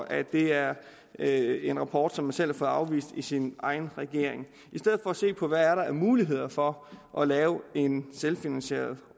at det er er en rapport man selv har fået afvist i sin egen regering i stedet for se på hvad der er af muligheder for at lave en selvfinansierende